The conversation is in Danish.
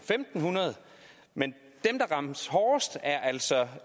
fem hundrede men dem der rammes hårdest er altså